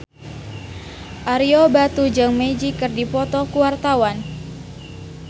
Ario Batu jeung Magic keur dipoto ku wartawan